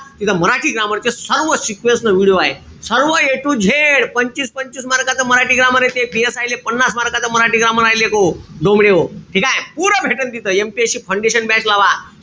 तिथं मराठी grammar चे सर्व sequence न video आहे. सर्व a to z पंचवीस-पंचवीस mark च मराठी grammar ए ते. PSI ले पन्नास mark च मराठी grammar आहे लेकहो, डोमड्याहो. ठीकेय? पुरं भेटेन तिथं MPSC foundation batch लावा.